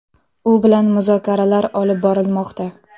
U bilan muzokaralar olib borilmoqda.